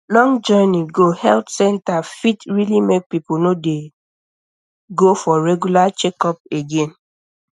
long journey go health center fit really make people no dey go for regular checkup again